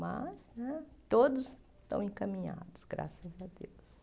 Mas né todos estão encaminhados, graças a Deus.